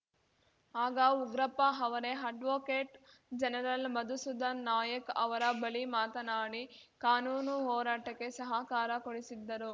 ಆಗ ಉಗ್ರಪ್ಪ ಅವರೇ advocate general Madhusudhan Nayak ಅವರ ಬಳಿ ಮಾತನಾಡಿ ಕಾನೂನು ಹೋರಾಟಕ್ಕೆ ಸಹಕಾರ ಕೊಡಿಸಿದ್ದರು